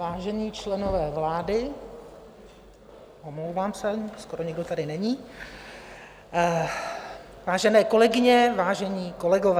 Vážení členové vlády, omlouvám se, skoro nikdo tady není, vážené kolegyně, vážení kolegové.